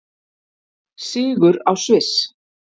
Sigur á Sviss